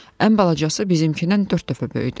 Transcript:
Ən balacası bizimkindən dörd dəfə böyükdür.